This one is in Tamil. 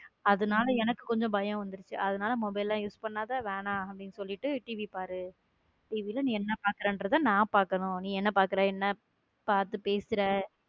அதனால எனக்கு கொஞ்சம் பயம் வந்துருச்சு அதனால mobile எல்லாம் use பண்ணாத வேணாம் அப்படின்னு சொல்லிட்டு TV பாரு TV ல நீ என்ன பாக்குறேங்குறத நான் பாக்கணும் நீ என்ன பாக்குற என்ன பார்த்து பேசுற.